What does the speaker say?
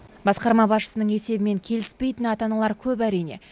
басқарма басшысының есебімен келіспейтін ата аналар көп әрине